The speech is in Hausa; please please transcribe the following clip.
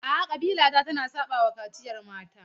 A'a, ƙabila ta tana saɓawa kaciyar mata.